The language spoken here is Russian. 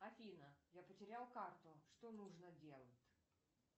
афина я потерял карту что нужно делать